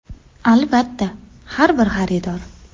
Albatta, har bir xaridor.